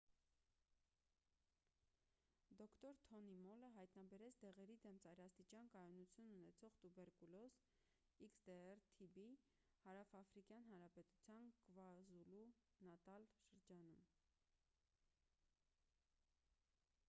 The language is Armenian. դոկտոր թոնի մոլը հայտնաբերեց դեղերի դեմ ծայրաստիճան կայունություն ունեցող տուբերկուլոզ xdr-tb հարավաֆրիկյան հանրապետության կվազուլու-նատալ շրջանում: